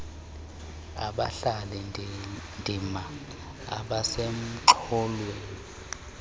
abadlali ndima abasemxholweni